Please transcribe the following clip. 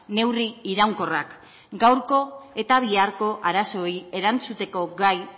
neurri iraunkorrak gaurko eta biharko arazoei erantzuteko gai